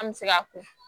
An bɛ se k'a ko